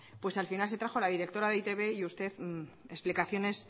pues al final se trajo la directora de e i te be y usted explicaciones